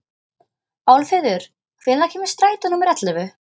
Álfheiður, hvenær kemur strætó númer ellefu?